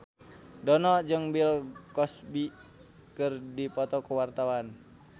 Dono jeung Bill Cosby keur dipoto ku wartawan